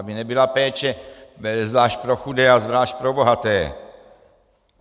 Aby nebyla péče zvlášť pro chudé a zvlášť pro bohaté.